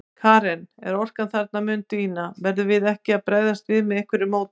Karen: En orkan þarna mun dvína, verðum við ekki að bregðast við með einhverju móti?